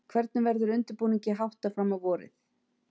Hvernig verður undirbúningi háttað fram á vorið?